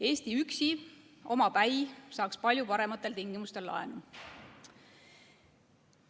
Eesti üksi, omapäi saaks palju parematel tingimustel laenu.